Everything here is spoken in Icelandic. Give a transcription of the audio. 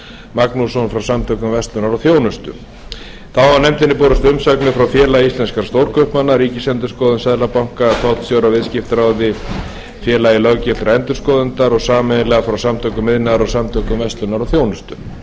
magnússon frá samtökum verslunar og þjónustu þá hafa nefndinni borist umsagnir frá félagi íslenskra stórkaupmanna ríkisendurskoðun seðlabanka íslands tollstjóra viðskiptaráði íslands félagi löggiltra endurskoðenda og sameiginlega frá samtökum iðnaðarins og samtökum verslunar og þjónustu í